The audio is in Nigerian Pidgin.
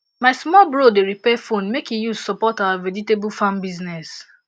my small bro dey repair phone make e use support our vegetable farm business